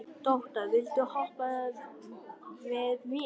Tóta, viltu hoppa með mér?